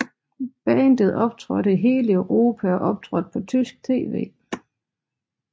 Bandet optrådte i hele Europa og optrådte på tysk tv